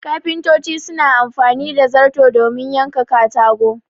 Kafintoci suna amfani da zarto domin yanka katago